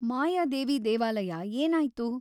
ಮಾಯಾದೇವಿ ದೇವಾಲಯ ಏನಾಯ್ತು?